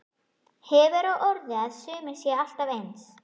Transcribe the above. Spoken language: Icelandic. Hefur á orði að sumir séu alltaf eins.